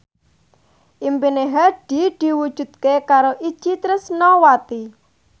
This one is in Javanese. impine Hadi diwujudke karo Itje Tresnawati